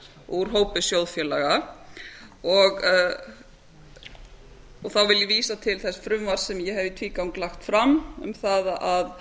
úr hópi sjóðfélaga þá vil ég vísa til þess frumvarps sem ég hef í tvígang lagt fram um það að